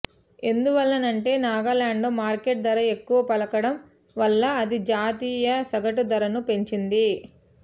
ఎందువల్లనంటే నాగాలాండ్లో మార్కెటు ధర ఎక్కువ పలకడం వల్ల అది జాతీ య సగటు ధరను పెంచింది